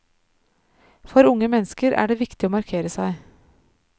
For unge mennesker er det viktig å markere seg.